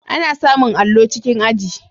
Ana samun allo cikin aji.